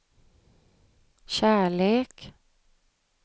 kärlek